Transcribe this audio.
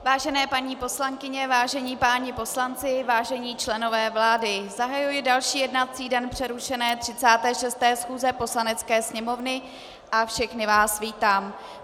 Vážené paní poslankyně, vážení páni poslanci, vážení členové vlády, zahajuji další jednací den přerušené 36. schůze Poslanecké sněmovny a všechny vás vítám.